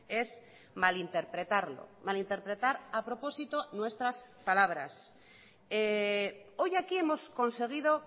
es malinterpretarlo malinterpretar a propósito nuestras palabras hoy aquí hemos conseguido